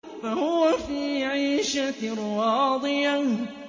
فَهُوَ فِي عِيشَةٍ رَّاضِيَةٍ